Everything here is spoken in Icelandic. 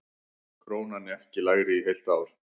Krónan ekki lægri í heilt ár